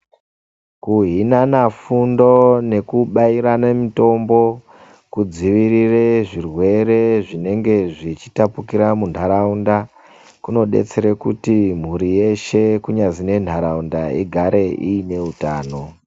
Kuhinana fundo nekubairane mitombo, kudziirire zvirwere zvinenge zveitapukira muntharaunda kunodetsera kuti mhuri yeshe kunyazi nenharaunda igare iine utano